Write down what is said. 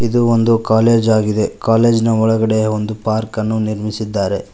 ಇದು ಒಂದು ಕಾಲೇಜ್ ಆಗಿದೆ ಕಾಲೇಜ್ನ ಒಳಗಡೆ ಒಂದು ಪಾರ್ಕನ್ನು ನಿರ್ಮಿಸಿದ್ದಾರೆ.